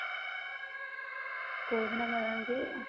କଉଦିନ ମେଳଣ କି?